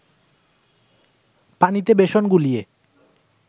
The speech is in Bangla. পানিতে বেসন গুলিয়ে